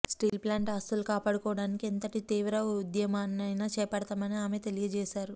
steel plant ఆస్తులు కాపాడుకోవడానికి ఎంతటి తీవ్ర ఉద్యమమైనా చేపడతామని ఆమె తెలియజేశారు